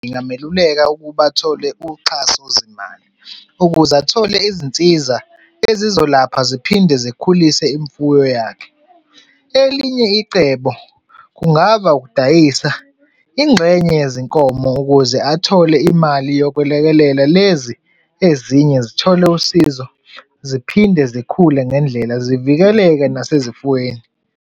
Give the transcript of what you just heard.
Ngingameluleka ukuba athole uxhaso zimali ukuze athole izinsiza ezizolapha ziphinde zikhulise imfuyo yakhe. Elinye icebo kungaba ukudayisa ingxenye yezinkomo ukuze athole imali yokwelekelela lezi ezinye zithole usizo ziphinde zikhule ngendlela, zivikeleke nasezifweni.